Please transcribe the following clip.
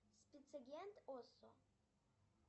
спецагент осо